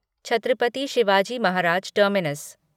Chhatrapati Shivaji Maharaj terminus